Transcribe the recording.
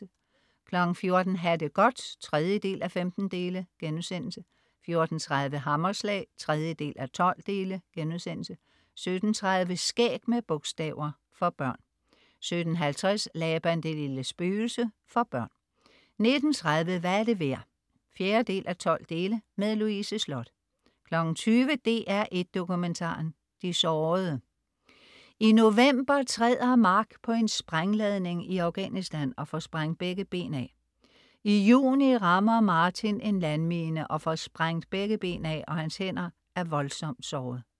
14.00 Ha' det godt 3:15* 14.30 Hammerslag 3:12* 17.30 Skæg med bogstaver. For børn 17.50 Laban det lille spøgelse. For børn 19.30 Hvad er det værd? 4:12. Louise Sloth 20.00 DR1 Dokumentaren: De sårede. I november træder Mark på en sprængladning i Afghanistan og får sprængt begge ben af. I juni rammer Martin en landmine, og får sprængt begge ben af og hans hænder er voldsomt såret